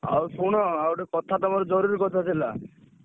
ଆଉ ଶୁଣ ଆଉ ଗୋଟେ କଥା ତମର ଜରୁରୀ କଥା ଥିଲା।